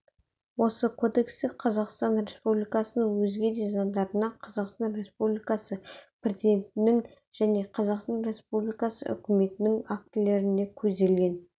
осы кодексте қазақстан республикасының өзге де заңдарында қазақстан республикасы президентінің және қазақстан республикасы үкіметінің актілерінде көзделген